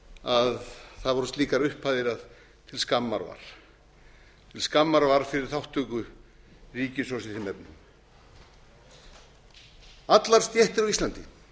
að það voru slíkar upphæðir að til skammar var til skammar var fyrir þátttöku ríkissjóðs í þeim efnum allar stéttir á íslandi